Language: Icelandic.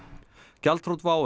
gjaldþrot WOW